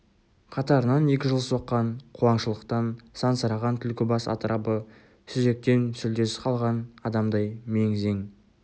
қатарынан екі жыл соққан қуаңшылықтан сансыраған түлкібас атырабы сүзектен сүлдесі қалған адамдай мең-зең